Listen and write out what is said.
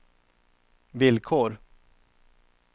villkor